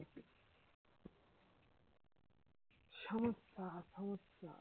সমস্যা সমস্যা